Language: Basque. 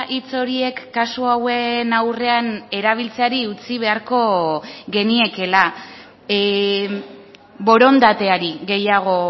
hitz horiek kasu hauen aurrean erabiltzeari utzi beharko geniekela borondateari gehiago